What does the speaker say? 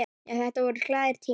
Já, þetta voru glaðir tímar.